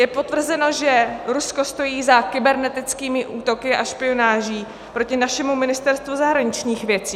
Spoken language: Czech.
Je potvrzeno, že Rusko stojí za kybernetickými útoky a špionáží proti našemu Ministerstvu zahraničních věcí.